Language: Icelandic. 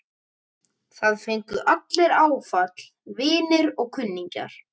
Það fengu allir áfall, vinir og kunningjar.